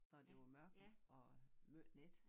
Når det var mørkt og måj nat